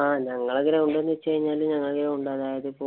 ആഹ് ഞങ്ങടെ gorund എന്ന് വച്ച് കഴിഞ്ഞാല് അതായത് ഞങ്ങടവിടുന്നു ഇപ്പൊ